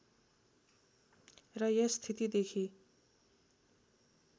र यस स्थितिदेखि